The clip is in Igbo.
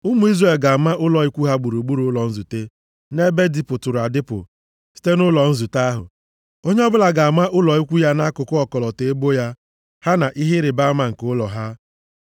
“Ụmụ Izrel ga-ama ụlọ ikwu ha gburugburu ụlọ nzute, nʼebe dịpụturu adịpụ site nʼụlọ nzute ahụ. Onye ọbụla ga-ama ụlọ ikwu ya nʼakụkụ ọkọlọtọ ebo ya, ha na ihe ịrịbama nke ụlọ ha.”